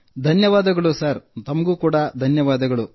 ತಮಗೂ ಧನ್ಯವಾದಗಳು ಮೋದಿಜೀ